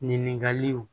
Ɲininkaliw